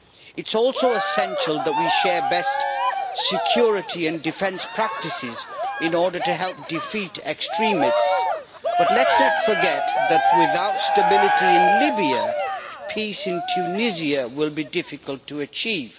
It is also essential that we share best security and defence practices in order to help defeat extremists, but let us not forget that without stability in Libya, peace in Tunisia will be difficult to achieve.